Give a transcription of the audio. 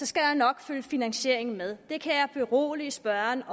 skal der nok følge finansiering med det kan jeg berolige spørgeren